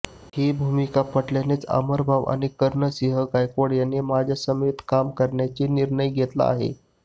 ही भूमिका पटल्यानेच अमरभाऊ आणि कर्णसिंह गायकवाड यांनी माझ्यासमवेत काम करण्याचा निर्णय घेतला आहे